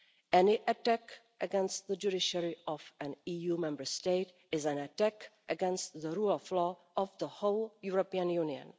Any attack against the judiciary of an EU Member State is an attack against the rule of law of the whole European Union.